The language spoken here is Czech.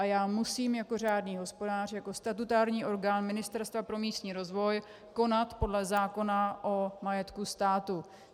A já musím jako řádný hospodář, jako statutární orgán Ministerstva pro místní rozvoj, konat podle zákona o majetku státu.